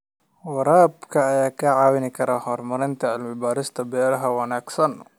Waraabka ayaa kaa caawin kara horumarinta cilmi baarista beeraha wanaagsan.